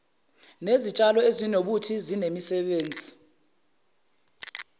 nezitshalo ezinobuthi inemisebenzi